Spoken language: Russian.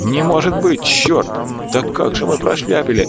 не может быть черт да как же мы прошляпили